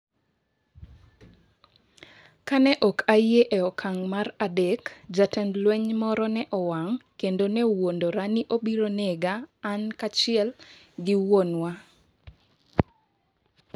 Ka ne ok ayie e okang’ mar adek, jatend lweny moro ne owang’ kendo nowuondora ni obiro nego an kaachiel gi wuonwa.